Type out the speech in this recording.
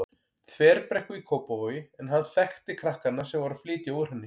Þverbrekku í Kópavogi en hann þekkti krakkana sem voru að flytja úr henni.